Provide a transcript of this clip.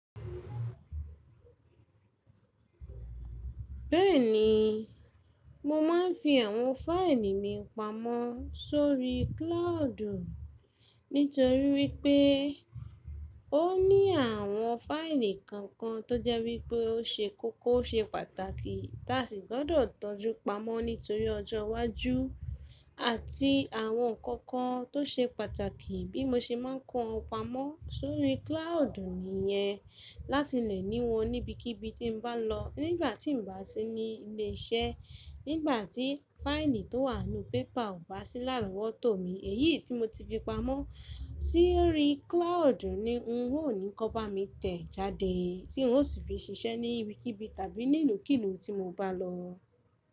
Bẹ́ẹ̀ni, mo máa ń fi àwọn fáìlì mi pamọ́ sórí cloud. Nítorí wípé ó ní àwọn fáìlì kankan tó jẹ́ wípé ó ṣe kókó ó ṣe pàtàkì, tí a sì gbọ́dọ̀ tọ́jú pamọ́ nítorí ọjọ́ iwájú àti àwọn nǹkan kan tó ṣe pàtàkì bí mo ṣe má ń kó wọn pamọ́ sórí cloud nìyẹn láti lè ní wọn níbikíbi tí n bá lọ. Nígbà tí n bá sí ní ilé iṣẹ́, nígbà tí fáìlì tó wà nínú pépà ò bá sí láàrọ́ wọ́to mi, èyí tí mo ti fi pamọ́ sórí cloud ni n óò ní kan bá mi tẹ̀ jáde tí n ó sì fi ṣiṣẹ́ níbikíbi tàbí nílùúkìlùú tí mo bá lọ.